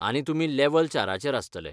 आनी तुमी लेव्हल चाराचेर आसतले.